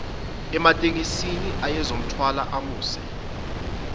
ematekisini ayezomthwala amuse